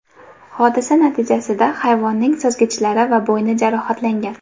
Hodisa natijasida hayvonning suzgichlari va bo‘yni jarohatlangan.